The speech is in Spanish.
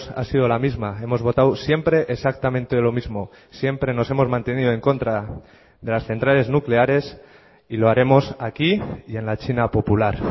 ha sido la misma hemos votado siempre exactamente lo mismo siempre nos hemos mantenido en contra de las centrales nucleares y lo haremos aquí y en la china popular